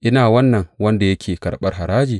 Ina wannan wanda yake karɓar haraji?